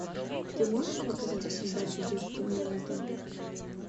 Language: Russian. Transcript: ты можешь показать передачу детский мир на тв